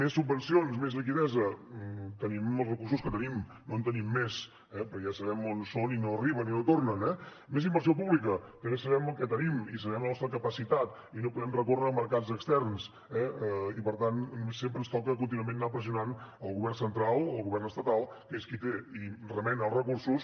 més subvencions més liquiditat tenim els recursos que tenim no en tenim més però ja sabem on són i no arriben i no tornen eh més inversió pública també sabem el que tenim i sabem la nostra capacitat i no podem recórrer a mercats externs eh i per tant sempre ens toca contínuament anar pressionant el govern central el govern estatal que és qui té i remena els recursos